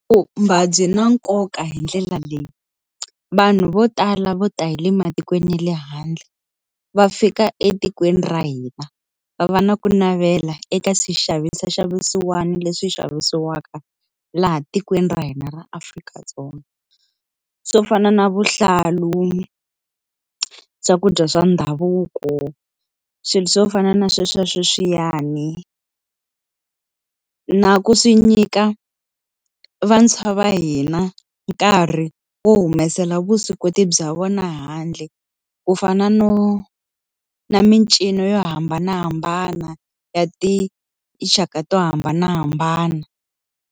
Ku byina nkoka hi ndlela leyi, vanhu vo tala vo ta hile matikweni ya le handle va fika etikweni ra hina va va na ku navela eka swixavisa xa vusiwana leswi xavisiwaka laha tikweni ra hina ra Afrika-Dzonga swo fana na vuhlalu, swakudya swa ndhavuko swilo swo fana na sweswo sweswiyani na ku swi nyika vantshwa va hina nkarhi wo humesela vuswikoti bya vona handle ku fana no na mincino yo hambanahambana ya tinxaka to hambanahambana.